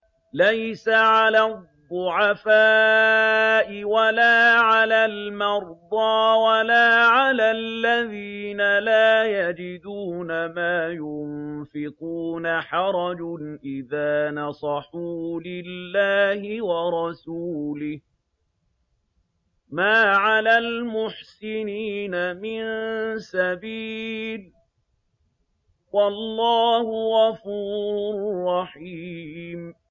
لَّيْسَ عَلَى الضُّعَفَاءِ وَلَا عَلَى الْمَرْضَىٰ وَلَا عَلَى الَّذِينَ لَا يَجِدُونَ مَا يُنفِقُونَ حَرَجٌ إِذَا نَصَحُوا لِلَّهِ وَرَسُولِهِ ۚ مَا عَلَى الْمُحْسِنِينَ مِن سَبِيلٍ ۚ وَاللَّهُ غَفُورٌ رَّحِيمٌ